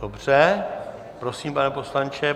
Dobře, prosím, pane poslanče.